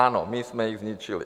Ano, my jsme je zničili.